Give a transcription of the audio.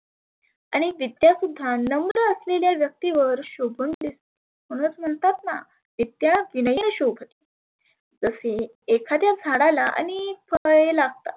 आणि विद्या सुद्धा नवदय असलेल्या व्यक्तिवर शोभुन दिस. म्हणुनच म्हणतातना विद्या विनय शोभती. तसेच एखाद्या झाडाला आनेक फळे लागतात.